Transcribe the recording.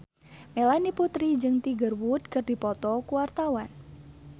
Melanie Putri jeung Tiger Wood keur dipoto ku wartawan